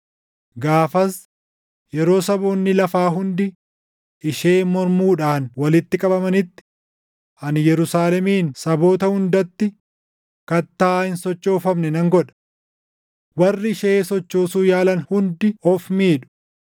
Gaafas, yeroo saboonni lafaa hundi isheen mormuudhaan walitti qabamanitti, ani Yerusaalemin saboota hundatti kattaa hin sochoofamne nan godha. Warri ishee sochoosuu yaalan hundi of miidhu.